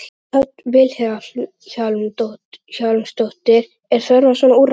Hödd Vilhjálmsdóttir: Er þörf á svona úrræði?